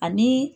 Ani